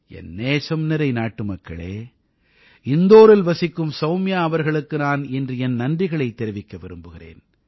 என் நேசம் நிறை நாட்டுமக்களே இந்தோரில் வசிக்கும் சௌம்யா அவர்களுக்கு நான் இன்று என் நன்றிகளைத் தெரிவிக்க விரும்புகிறேன்